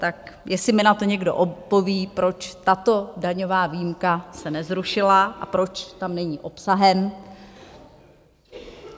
Tak jestli mi na to někdo odpoví, proč tato daňová výjimka se nezrušila a proč tam není obsahem.